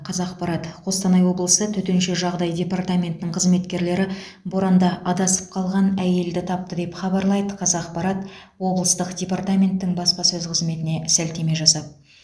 қазақпарат қостанай облысы төтенше жағдай департаментінің қызметкерлері боранда адасып қалған әйелді тапты деп хабарлайды қазақпарат облыстық департаменттің баспасөз қызметіне сілтеме жасап